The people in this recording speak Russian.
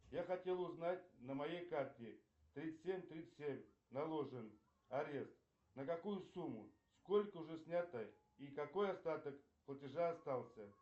я хотел узнать на моей карте тридцать семь тридцать семь наложен арест на какую сумму сколько уже снято и какой остаток платежа остался